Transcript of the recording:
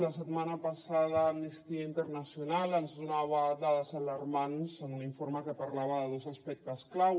la setmana passada amnistia internacional ens donava dades alarmants en un informe que parlava de dos aspectes clau